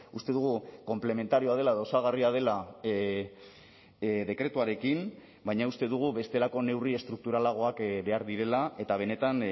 uste dugu konplementarioa dela edo osagarria dela dekretuarekin baina uste dugu bestelako neurri estrukturalagoak behar direla eta benetan